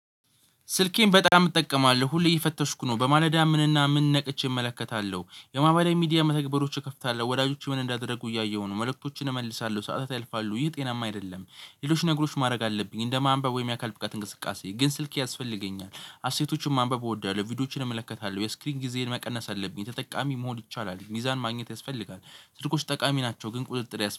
ስልኬን በጣም እጠቀማለሁ ሁሌ እየፈተሽኩ ነው በማለዳ ምንና ምን ነቅቼ እመለከታለሁ የማህበራዊ ሚዲያ መተግበሪያዎች እከፍታለሁ ወዳጆች ምን እንዳደረጉ እያየሁ ነው መልእክቶችን እመልሳለሁ ሰዓታት ያልፋሉ ይሄ ጤናማ አይደለም። ሌሎች ነገሮች እንደ ማንበብ ወይም የአካል ብቃት እንቅስቃሴ ግን ስልክ ያስፈልገኛል። አሴቶችን ማንበብ እወዳለሁ። ቪዲዮዎችን እመለከታለሁ የእስክሪን ጊዜን መቀነስ አለብኝ ተጠቃሚ መሆን ይቻላል። ሚዛን ማግኘት ያስፈልጋል። ስልኮች ጠቃሚ ናቸው ግን ቁጥጥር ያስ